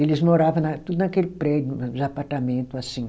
Eles morava na tudo naquele prédio, nos apartamentos, assim.